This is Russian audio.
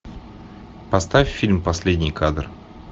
поставь фильм последний кадр